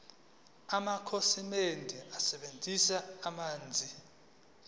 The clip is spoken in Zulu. amakhasimende asebenzisa amanzi